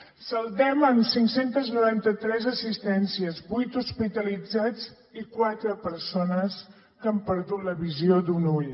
ho saldem amb cinc cents i noranta tres assistències vuit hospitalitzats i quatre persones que han perdut la visió d’un ull